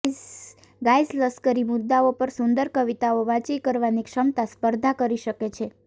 guys લશ્કરી મુદ્દાઓ પર સુંદર કવિતાઓ વાંચી કરવાની ક્ષમતા સ્પર્ધા કરી શકે છે